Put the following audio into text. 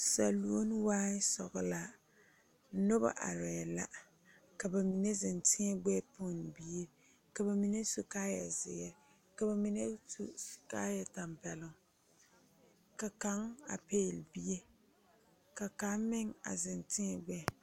Saluone waai sɔglaa nobɔ arɛɛ la ka ba mine zeŋ tēɛ gbɛɛ pɛnne bie ka va mine su kaayɛ zeere ka ba mine su kaayɛ tampɛloŋ ka kaŋ a pɛɛle bie ka kaŋ meŋ a zeŋ tēɛ gbɛɛ.